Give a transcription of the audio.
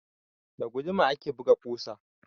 Da guduma ake buga ƙusa